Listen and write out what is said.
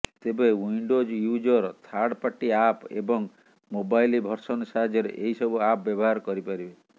ତେବେ Windows user third party app ଏବଂ mobile version ସାହାଯ୍ୟରେ ଏହି ସବୁ ଆପ୍ ବ୍ୟବହାର କରିପାରିବେ